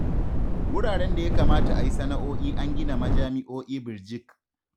Wuraren da ya kamata a yi sana'o'i an gina majami'o'i birjik